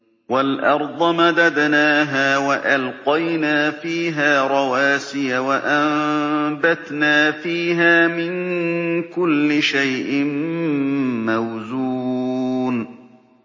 وَالْأَرْضَ مَدَدْنَاهَا وَأَلْقَيْنَا فِيهَا رَوَاسِيَ وَأَنبَتْنَا فِيهَا مِن كُلِّ شَيْءٍ مَّوْزُونٍ